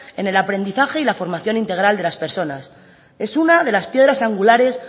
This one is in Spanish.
en el aprendizaje y la formación integral de las personas es una de las piedras angulares